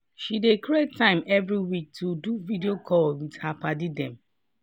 she dey create time every week to do video calls wit her padi dem.